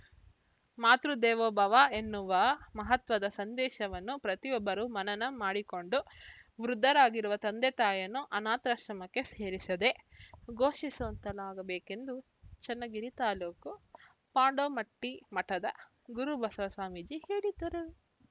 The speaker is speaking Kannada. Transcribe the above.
ಮಾತೃದೇವೋಭವ ಎನ್ನುವ ಮಹತ್ವದ ಸಂದೇಶವನ್ನು ಪ್ರತಿಯೊಬ್ಬರು ಮನನ ಮಾಡಿಕೊಂಡು ವೃದ್ಧರಾಗಿರುವ ತಂದೆತಾಯಿಯನ್ನು ಆನಾಥಶ್ರಮಕ್ಕೆ ಸೇರಿಸದೆ ಘೋಷಿಸುವಂತಾಗಬೇಕೆಂದು ಚನ್ನಗಿರಿ ತಾಲೂಕು ಪಾಂಡೋಮಟ್ಟಿ ಮಠದ ಗುರುಬಸವ ಸ್ವಾಮಿಜೀ ಹೇಳಿದರು